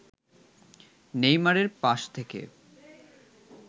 নেইমারের পাস থেকে